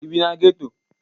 Ị bi na geto?